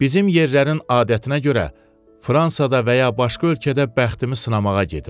Bizim yerlərin adətinə görə Fransada və ya başqa ölkədə bəxtimi sınamağa gedirəm.